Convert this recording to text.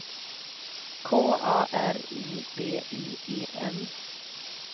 K A R I B I E N